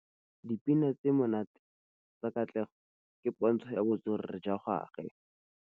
Dipina tse di monate tsa Katlego ke pôntshô ya botswerere jwa gagwe.